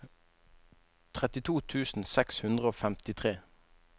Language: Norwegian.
trettito tusen seks hundre og femtitre